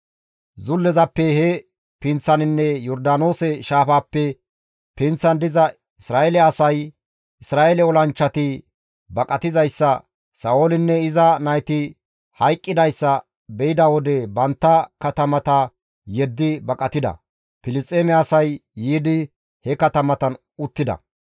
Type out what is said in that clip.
Zullezappe he pinththaninne Yordaanoose shaafaappe pinththan diza Isra7eele asay, Isra7eele olanchchati baqatizayssa, Sa7oolinne iza nayti hayqqidayssa beyda wode bantta katamata yeddi baqatida; Filisxeeme asay yiidi he katamatan uttida.